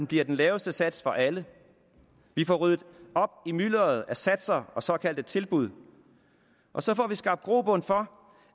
bliver den laveste sats for alle vi får ryddet op i mylderet af satser og såkaldte tilbud og så får vi skabt grobund for